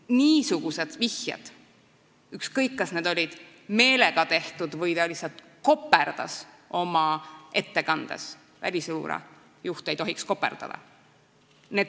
Niisugused vihjed, ükskõik, kas neid tehti meelega või inimene lihtsalt koperdas oma ettekandes – välisluure juht ei tohiks koperdada!